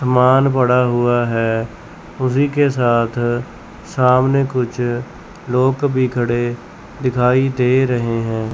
समान पड़ा हुआ है उसी के साथ सामने कुछ लोग भी खड़े दिखाई दे रहे हैं।